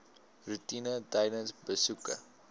roetine tydens besoeke